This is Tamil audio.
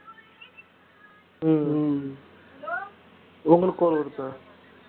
உம் உங்களுக்கு call வருதா